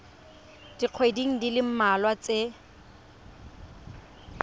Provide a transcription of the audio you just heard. dikgweding di le mmalwa tse